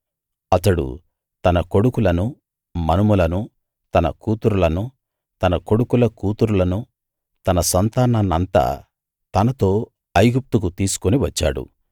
అతడు తన కొడుకులనూ మనుమలనూ తన కూతుర్లనూ తన కొడుకుల కూతుర్లనూ తన సంతానాన్నంతా తనతో ఐగుప్తు తీసుకు వచ్చాడు